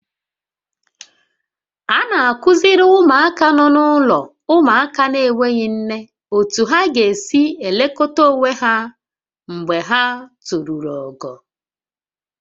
A na-akụziri ụmụaka nọ n'ụlọ ụmụaka na-enweghị nne otú ha ga-esi elekọta onwe ha mgbe ha toruru ogo